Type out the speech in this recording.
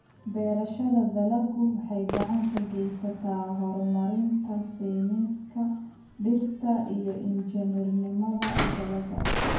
Beerashada dalaggu waxay gacan ka geysataa horumarinta sayniska dhirta iyo injineernimada dalagga.